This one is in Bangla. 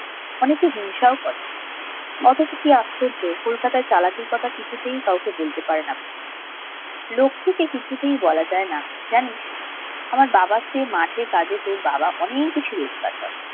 অনেকে হিংসাও করে অথচ কি আশ্চর্য কলকাতায় চালাকির্ কথা কিছুতেই কাউকে বলতে পারে না পুনু লক্ষ্মীকে কিছুই বলা যায় না জানিস আমার বাবা চেয়ে মাঠে কাজে তোর বাবা অনেক বেশি রোজগার করে